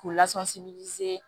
K'u lasɔmi